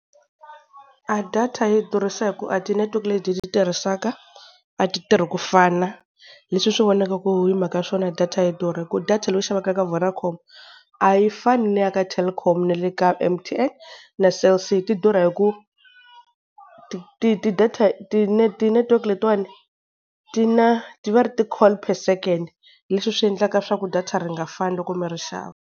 A data yi durhisa hi ku a ti network leti hi ti tirhisaka, a ti tirhi ku fana, leswi swi vonaka ku hi mhaka swona data yi durha ku data leyi u xavaka ka Vodacom a yi fani na ya le ka Telkom na le ka M_T_N na Cell C ti durha hi ku, ti-network letin'wani ti na, va ri i ti call per second leswi swi endlaka swa ku data ri nga fani loko mi ri xava.